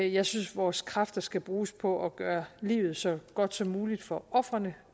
jeg synes vores kræfter skal bruges på at gøre livet så godt som muligt for ofrene